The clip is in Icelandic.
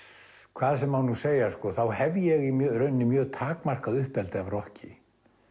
hvað sem má nú segja sko þá hef ég í rauninni mjög takmarkað uppeldi af rokki